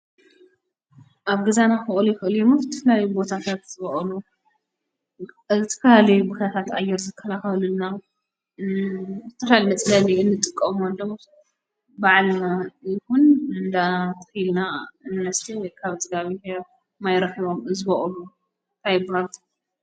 ኣብ ገዛና ሕኦልኽኦልሙት ትፍላይ ቦታፍያት ዝበኦሉ ኣቲፋል ብኸታት ኣየር ዘከልኸወሉና ተልል መፅለኒ እንጥቀም ወዶም በዓልማ ይኹን እንዳትልና እነስተ ኻብ ዝጋቢ ሕ ማይረሕቦም ዝበኦሉ ታይ ይበሃሉ?